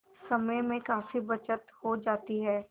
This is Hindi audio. समय में काफी बचत हो जाती है